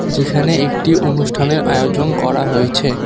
যেখানে একটি অনুষ্ঠানের আয়োজন করা হয়েছে।